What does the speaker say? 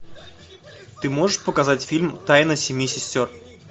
ты можешь показать фильм тайна семи сестер